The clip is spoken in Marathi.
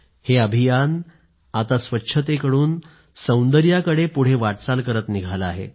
हे अभियान आता स्वच्छतेकडून सौंदर्याकडे पुढे वाटचाल करत निघालं आहे